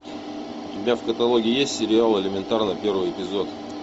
у тебя в каталоге есть сериал элементарно первый эпизод